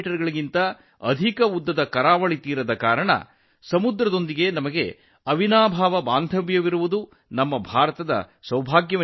me ಗಿಂತ ಹೆಚ್ಚು ಉದ್ದದ ಕಡಲತೀರದ ಕಾರಣದಿಂದಾಗಿ ಸಮುದ್ರದೊಂದಿಗಿನ ನಮ್ಮ ಬಾಂಧವ್ಯವು ಅವಿನಾಭಾವವಾಗಿ ಉಳಿದುಕೊಂಡಿರುವುದು ಭಾರತದ ಅದೃಷ್ಟವಾಗಿದೆ